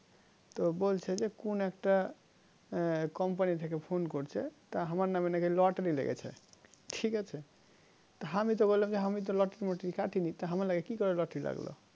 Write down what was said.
তো বলছে কোন একটা company থেকে phone করছে তা আমার নামে নাকি lottery লেগেছে ঠিকাছে আমি তো বললাম হামি lottery মাতারি কাটিনি আমার নাম কি করে lottery লাগলো